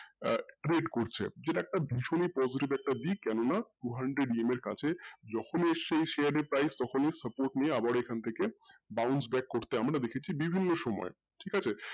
আহ create করছে যেটা একটা ভীষণই positive দিক কেন না two hundred EMI এর কাছে যখনি সেই share যখনি সেই supportprice তখনি bounce back নিয়ে করতে দেখেছি বিভিন্ন সময় ঠিক আছে